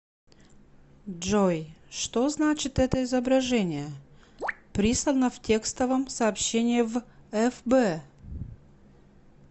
джой что значит это изображение прислано в текстовом сообщении в фб